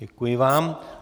Děkuji vám.